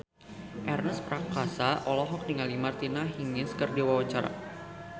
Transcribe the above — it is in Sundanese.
Ernest Prakasa olohok ningali Martina Hingis keur diwawancara